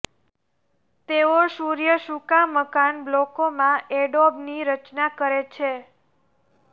તેઓ સૂર્ય સૂકા મકાન બ્લોકોમાં એડોબની રચના કરે છે